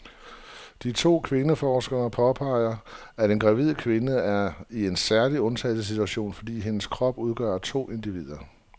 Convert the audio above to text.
De to kvindeforskere påpeger, at en gravid kvinde er i en særlig undtagelsessituation, fordi hendes krop udgør to individer.